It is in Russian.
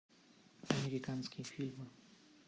американские фильмы